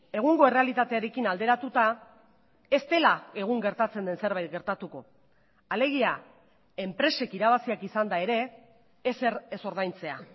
egungo errealitatearekin alderatuta ez dela egun gertatzen den zerbait gertatuko alegia enpresek irabaziak izanda ere ezer ez ordaintzea